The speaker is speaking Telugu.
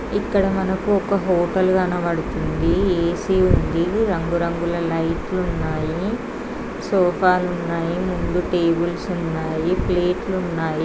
ఇక్కడ మనకు ఒక హోటల్ కనబడుతుంది. ఏ_సి ఉంది. రంగురంగుల లైట్ లు ఉన్నాయి. సోఫా లు ఉన్నాయి. ముందు టేబుల్స్ ఉన్నాయి. ప్లేట్ లున్నాయి.